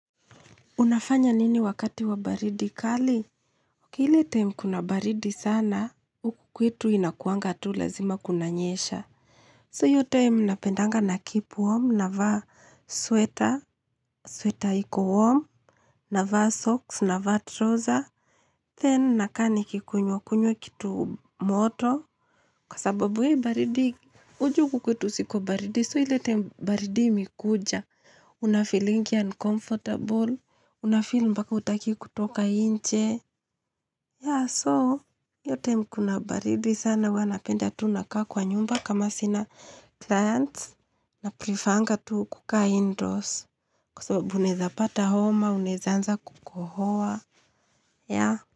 Unafanya nini wakati wa baridi kali? Ile time kuna baridi sana, huku kwetu inakuanga tu lazima kunanyesha. So iyo time napendanga na keep warm, na vaa sweater, sweater iko warm, na vaa socks, na vaa trouser. Then nakaa nikikunywa kunywa kitu moto. Kwa sababu hii baridi, unajua huku kwetu si kwa baridi. So ile time baridi imekuja. Unafilingi uncomfortable. Unafeel mpaka hutaki kutoka nje. Yeah so, iyo time kuna baridi sana. Huwa napenda tu nakaa kwa nyumba kama sina clients. Na prifaanga tu kukaa indoors. Kwa sababu uneza pata homa, unezaanza kukohoa. Yeah.